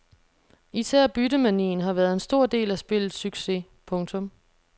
Især byttemanien har været en stor del af spillets succes. punktum